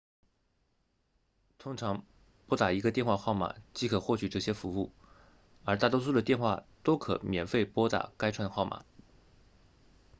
通常拨打一个电话号码即可获取这些服务而大多数的电话都可免费拨打该串号码